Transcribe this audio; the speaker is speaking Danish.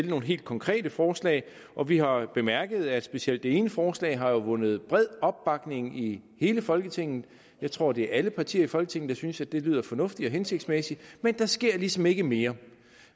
nogle helt konkrete forslag og vi har bemærket at specielt det ene forslag har vundet bred opbakning i hele folketinget jeg tror det er alle partier i folketinget der synes at det lyder fornuftigt og hensigtsmæssigt men der sker ligesom ikke mere